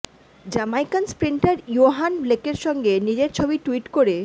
Jamaican sprinter Yohan ব্লেকের সঙ্গে নিজের ছবি টুইট করে